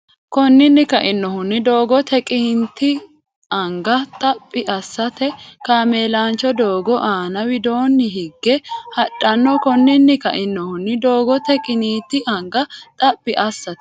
Konninni kainohunni doogote qiniiti anga Xaphi assate kaameelaancho doogo aana widoonni higge hadhanno Konninni kainohunni doogote qiniiti anga Xaphi assate.